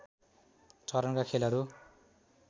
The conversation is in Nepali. चरणका खेलहरू